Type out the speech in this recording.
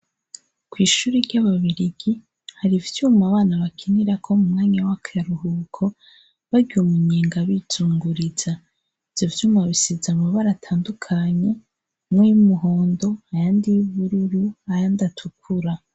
Kw'ishuri ry'ababirigi, hari ivyuma abana bakinirako mu mwanya wakaruhuko, barya umunyenga bizunguriza, ivyo vyuma bisize amabara atandukanye, amwe y'umuhondo, ayandi y'ubururu, ayandi atukura.